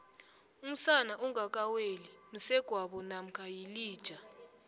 umsana ongakaweli msegwabo namkha yilija